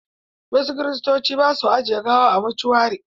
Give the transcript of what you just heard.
Wasu Kiristoci ba su ajiye gawa a motuari.